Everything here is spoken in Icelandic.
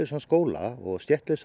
skóla og